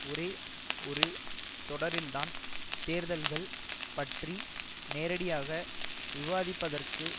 ஒரே ஒரு தொடரில்தான் தேர்தல்கள் பற்றி நேரடியாக விவாதிப்பதற்கு